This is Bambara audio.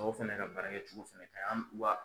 Tɔw fɛnɛ ka baara kɛcogo fɛnɛ ka ɲi wa